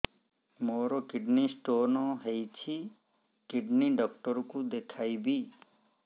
ମୋର kidney stone ହେଇଛି kidney doctor କୁ ଦେଖାଇବି